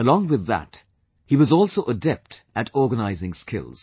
Along with that, he was also adept at organising skills